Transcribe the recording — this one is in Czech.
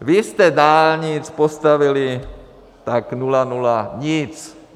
Vy jste dálnic postavili tak nula nula nic.